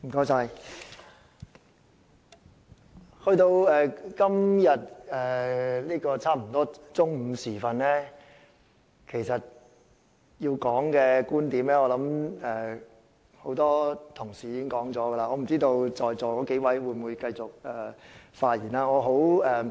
現在差不多來到中午時分，要說的觀點，很多同事已經說了，我不知道在座數位議員還有沒有打算發言。